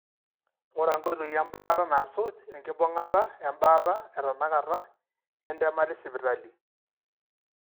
inguraa nkoitoi embaata nasuj enkibungata embaata etanakata entemata esipitali.